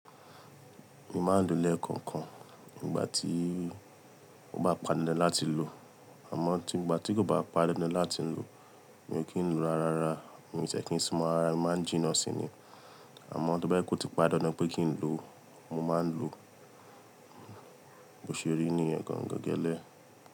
Èmi máa ń lo lẹ̀ẹkọ̀ọ̀kan nígbà tí ó bá pàndándan láti lò. Àmọ́ tí ó bá pàndándan láti lò, mi ò kí ń lo rárá. Èmi ò tí ẹ kì ń lo rárámi ò kí n súnmọ́ rárá, mo máa ń jìnnà sí ni. Àmọ́, tó bá jẹ́ pé ó ti pọ́n dandan pé kí n lọ, mo má ń lo bó ṣe rí nìyẹn gangan gẹ́lẹ́.